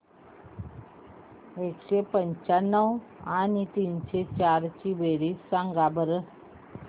एकशे पंच्याण्णव आणि तीनशे चार ची बेरीज सांगा बरं